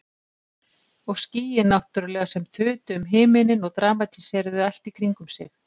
Og skýin náttúrlega sem þutu um himininn og dramatíseruðu allt í kringum sig.